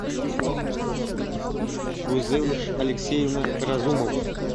гузель алексеевна разумова